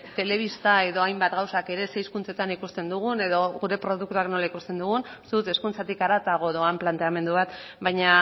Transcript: telebista edo hainbat gauzak ere ze hizkuntzetan ikusten dugun edo gure produktuak nola ikusten dugun uste dut hezkuntzatik haratago doan planteamendu bat baina